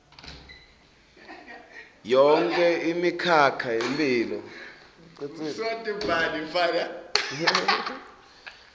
yonkhe imikhakha yemphilo